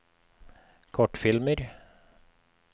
kortfilmer